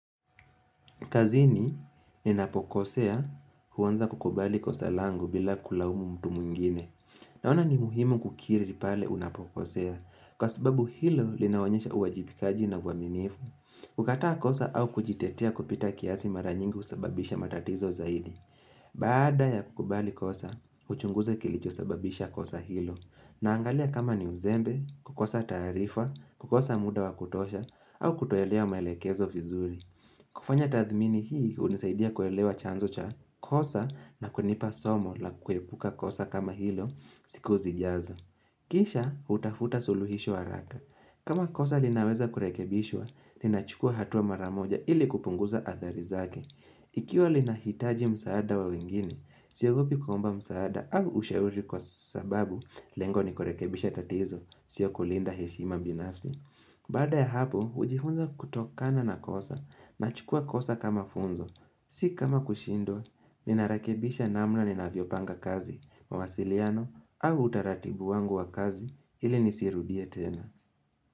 Kazini ninapokosea huanza kukubali kosa langu bila kulaumu mtu mwingine. Naona ni muhimu kukiri pale unapokosea kwa sababu hilo linaonyesha uwajibikaji na uaminifu. Kukataa kosa au kujitetia kupita kiasi mara nyingi husababisha matatizo zaidi. Baada ya kukubali kosa, uchunguze kilichosababisha kosa hilo. Naangalia kama ni uzembe, kukosa taarifa, kukosa muda wa kutosha, au kutoelewa maelekezo vizuri. Kufanya tathmini hii hunisaidia kuelewa chanzo cha kosa na kunipa somo la kuepuka kosa kama hilo siku zijazo. Kisha hutafuta suluhisho haraka. Kama kosa linaweza kurekebishwa, ninachukua hatua mara moja ili kupunguza athari zake. Ikiwa linahitaji msaada wa wengine, siogopi kuomba msaada au usheuri kwa sababu lengo ni kurekebisha tatizo, sio kulinda heshima binafsi. Baada ya hapo, hujifunza kutokana na kosa, nachukua kosa kama funzo. Si kama kushindwa, ninarekebisha namna ninavyopanga kazi, mawasiliano, au utaratibu wangu wa kazi ili nisirudia tena.